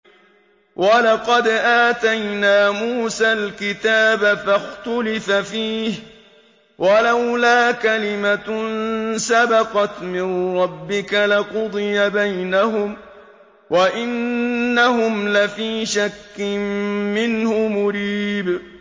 وَلَقَدْ آتَيْنَا مُوسَى الْكِتَابَ فَاخْتُلِفَ فِيهِ ۗ وَلَوْلَا كَلِمَةٌ سَبَقَتْ مِن رَّبِّكَ لَقُضِيَ بَيْنَهُمْ ۚ وَإِنَّهُمْ لَفِي شَكٍّ مِّنْهُ مُرِيبٍ